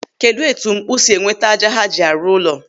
Kedụ etu mkpụ̀ si enweta ájá ha ji a rụ ụlọ.